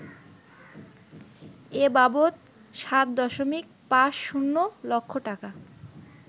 এ বাবদ ৭.৫০ লক্ষ টাকা